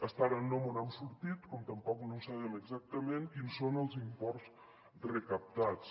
fins ara no mos n’hem sortit com tampoc no sabem exactament quins són els imports recaptats